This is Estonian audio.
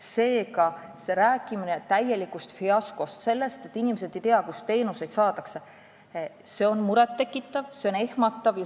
Seega on rääkimine täielikust fiaskost, sellest, et inimesed ei tea, kust teenuseid saada, muret tekitav ja ehmatav.